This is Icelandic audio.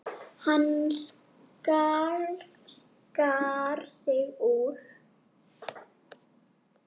Hann skar sig úr.